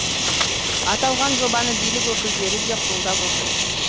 аталған жобаны билік өкілдері де қолдап отыр